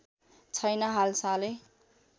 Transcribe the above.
छैन हालसालै